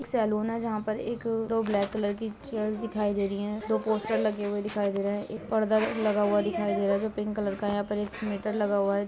एक सैलून है जहाँ पर एक दो ब्लैक कलर की चेयर दिखाई दे रही हैं। दो पोस्टर लगे हुए दिखाई दे रहे हैं। एक पर्दा लगा हुआ दिखाई दे रहा है जो पिंक कलर है। यहां पर एक मीटर लगा हुआ है।